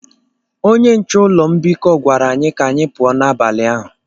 Onye nche ụlọ mbikọ gwara anyị ka anyị pụọ n’abalị ahụ.